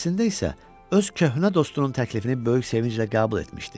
Əslində isə öz köhnə dostunun təklifini böyük sevinclə qəbul etmişdi.